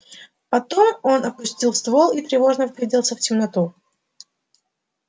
потом он опустил ствол и тревожно вгляделся в темноту